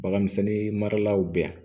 Baganmisɛnnin maralaw bɛ yan